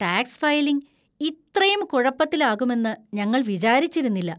Tax filing ഇത്രയും കുഴപ്പത്തിലാകുമെന്ന് ഞങ്ങൾ വിചാരിച്ചിരുന്നില്ല!